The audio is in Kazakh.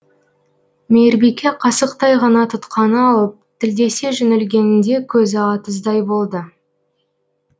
мейірбике қасықтай ғана тұтқаны алып тілдесе жөнелгенінде көзі атыздай болды